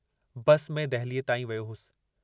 बस में दहलीअ ताईं वियो होसि।